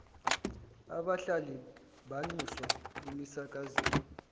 abahlali banxuswa emisakazweni